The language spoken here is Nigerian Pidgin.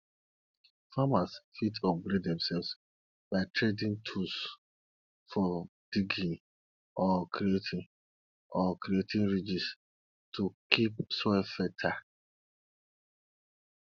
farmers fit upgrade demselves by tradin tools for diggin or creatin or creatin ridges to keep soil fertile